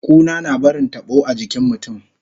Kuna na barin tabo a jikin mutun